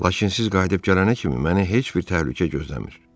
Lakin siz qayıdıb gələnə kimi məni heç bir təhlükə gözləmir.